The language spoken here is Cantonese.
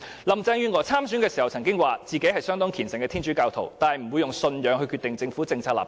林鄭月娥在參選時曾經表示，她是相當虔誠的天主教徒，但不會以信仰決定政府的政策立場。